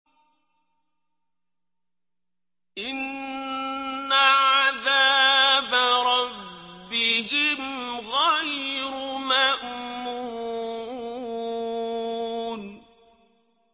إِنَّ عَذَابَ رَبِّهِمْ غَيْرُ مَأْمُونٍ